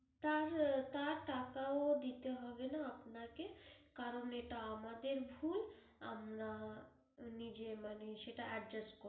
তার, তার টাকাও দিতে হবে না আপানাকে, কারণ এটা আমাদের ভুল আমরা নিজে মানে সেটা adjust করে নেবো।